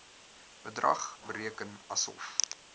bedrag bereken asof